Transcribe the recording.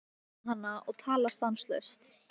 Svo sást hann faðma hana og tala stanslaust.